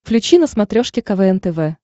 включи на смотрешке квн тв